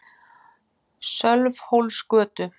Sölvhólsgötu